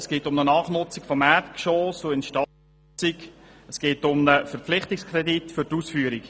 Es geht um eine Nachnutzung und Instandsetzung respektive um einen Verpflichtungskredit für die Ausführung.